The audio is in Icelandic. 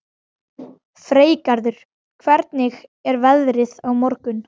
Freygarður, hvernig er veðrið á morgun?